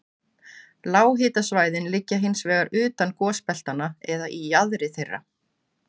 Lághitasvæðin liggja hins vegar utan gosbeltanna eða í jaðri þeirra.